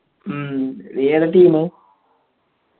മ്മ് നീ ഏതാ team